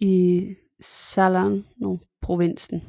i Salernoprovinsen